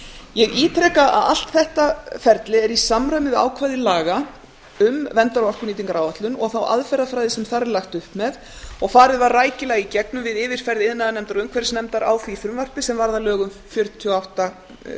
ég ítreka að allt þetta ferli er í samræmi við ákvæði laga um verndar og orkunýtingaráætlun og þá aðferðafræði sem þar er lagt upp með og farið var rækilega í gegnum við yfirferð iðnaðarnefndar og umhverfisnefndar á því frumvarpi sem varð að lögum númer fjörutíu og